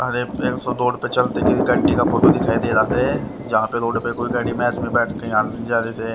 अरे रोड पर चलते कि गाड़ी का फोटो दिखाई दे रहा थे जहाँ पर रोड पर कोई गाड़ी में आदमी बैठ के यहाँ जा रहे थे--